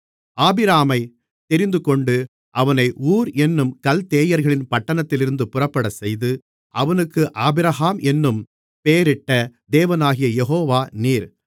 ஆபிராமைத் தெரிந்துகொண்டு அவனை ஊர் என்னும் கல்தேயர்களின் பட்டணத்திலிருந்து புறப்படச்செய்து அவனுக்கு ஆபிரகாம் என்னும் பெயரிட்ட தேவனாகிய யெகோவா நீர்